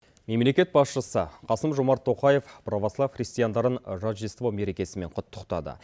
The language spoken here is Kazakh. мемлекет басшысы қасым жомарт тоқаев провослав христиандарын рождество мерекесімен құттықтады